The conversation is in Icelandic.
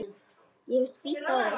Ég hef spýtt á þig.